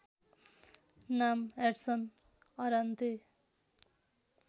नाम Edson Arantes